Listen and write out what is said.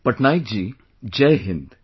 Patnaik ji, Jai Hind